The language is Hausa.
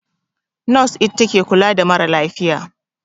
Nos ita take kula da ma ra lafiya